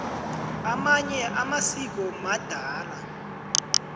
amanye amasiko madala